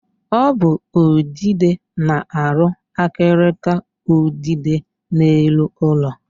Ọ bụ udide na-arụ akịrịka udide n'elu ụlọ.